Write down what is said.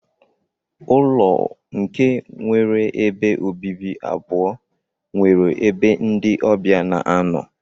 Ụlọ nke nwere ebe obibi abụọ nwere ebe ndi ọbia na anọ.